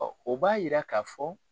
Ɔ o b'a yira ka fɔ